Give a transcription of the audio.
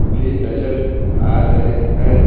भी नजर आ रहे है।